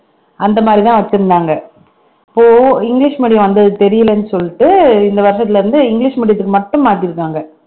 அந்த மாதிரிதான் வச்சிருந்தாங்க இப்போ இங்கிலிஷ் medium வந்தது தெரியலைன்னு சொல்லிட்டு இந்த வருஷத்திலே இருந்து இங்கிலிஷ் medium த்துக்கு மட்டும் மாத்திருக்காங்க